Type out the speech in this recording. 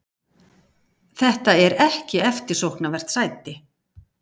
Þetta er ekki eftirsóknarvert sæti.